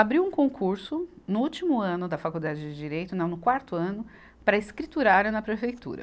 Abri um concurso no último ano da Faculdade de Direito, não, no quarto ano, para escriturária na prefeitura.